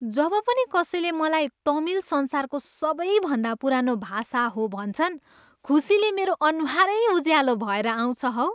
जब पनि कसैले मलाई तमिल संसारको सबैभन्दा पुरानो भाषा हो भन्छन्, खुसीले मेरो अनुहारै उज्यालो भएर आउँछ हौ।